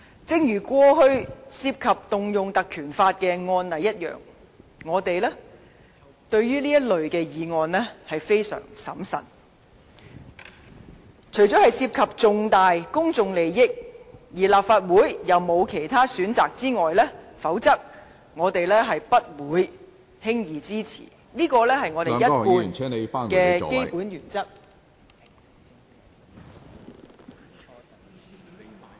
正如過往涉及運用《立法會條例》的案例，我們對於這類議案相當審慎，除了涉及重大公眾利益，而立法會又沒有其他選擇外，否則我們不會輕易支持，這是我們一貫的基本原則。